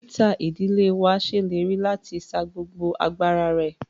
Dókítà ìdílé wa ṣèlérí láti sa gbogbo agbára rẹ.